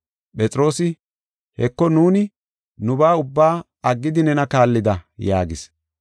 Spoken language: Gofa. Phexroosi, “Heko nuuni nubaa ubbaa aggidi nena kaallida” yaagis.